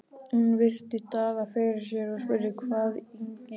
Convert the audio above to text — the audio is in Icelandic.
Hún virti Daða fyrir sér og spurði: Hvað íþyngir þér?